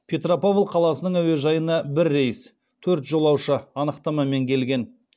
петропавл қаласының әуежайына бір рейс төрт жолаушы анықтамамен келген